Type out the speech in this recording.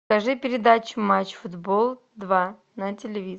покажи передачу матч футбол два на телевизоре